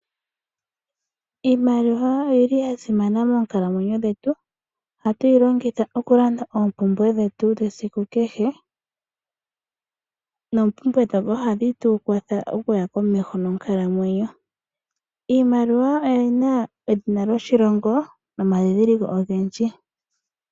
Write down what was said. Iimaliwa oya simana monkalamwenyo dhetu ohatu yi longitha okulanda oompumbwe dhetu dhesiku kehe noompumbwe ndhoka ohadhi tu kwatha okuya komeho monkalamwenyo. Iimaliwa oyi na edhina lyoshilongo nomandhindhiliko ogendji.